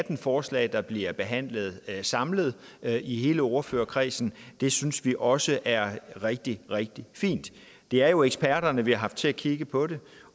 atten forslag der bliver behandlet samlet i hele ordførerkredsen synes vi også er rigtig rigtig fint det er jo eksperterne vi har haft til at kigge på det